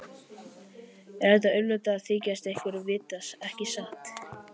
En það er auðveldara að þykjast ekkert vita, ekki satt.